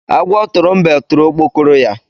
Agwọ tụrụ mbe tụrụ okpokoro ya.